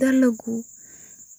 Dalagyada